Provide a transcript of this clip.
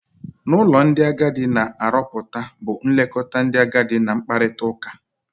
n'ụlọ ndị agadi na aroputa bu nlekọta ndị agadi na-nkpakọrịta.